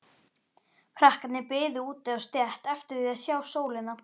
Krakkarnir biðu úti á stétt eftir því að sjá sólina.